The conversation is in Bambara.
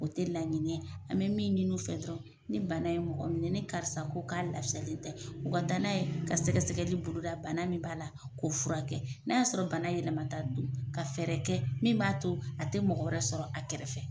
O tɛ laɲinɛ an bɛ min ɲini u fɛ dɔrɔn ni bana ye mɔgɔ minɛ ni karisa ko k'a lafiyalen tɛ u ka taa n'a ye ka sɛgɛsɛgɛli boloda bana min b'a la k'o furakɛ n'a y'a sɔrɔ bana yɛlɛmata don ka fɛɛrɛ kɛ min b'a to a tɛ mɔgɔ wɛrɛ sɔrɔ a kɛrɛfɛ.